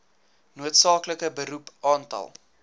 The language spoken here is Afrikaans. noodsaaklike beroep aantal